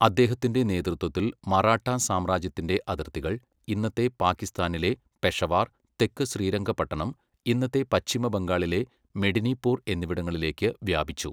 അദ്ദേഹത്തിന്റെ നേതൃത്വത്തിൽ, മറാഠാ സാമ്രാജ്യത്തിന്റെ അതിർത്തികൾ ഇന്നത്തെ പാക്കിസ്ഥാനിലെ പെഷവാർ, തെക്ക് ശ്രീരംഗപട്ടണം, ഇന്നത്തെ പശ്ചിമ ബംഗാളിലെ മെഡിനിപൂർ എന്നിവിടങ്ങളിലേക്ക് വ്യാപിച്ചു.